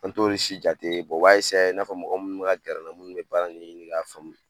An t'olu si jate u b'a i n'a fɔ mɔgɔ munnu bi ka gɛrɛ an na, munnu mi baara ɲɛɲini ka faamu